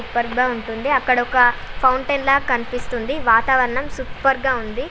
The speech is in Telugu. సూపర్ గా ఉంటుంది అక్కడొక ఫౌంటెన్ ల కనిపిస్తోంది వాతావరణం సూపర్ గా ఉంది